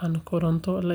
aan koronto la isticmaalin dhammaan.